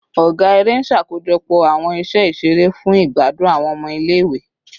Ọga ere n ṣakojọpọ awọn iṣẹ iṣere fun igbadun awọn ọmọ ile-iwe